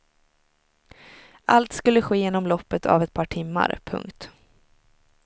Allt skulle ske inom loppet av ett par timmar. punkt